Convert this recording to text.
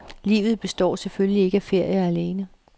Livet består selvfølgelig ikke af ferier alene.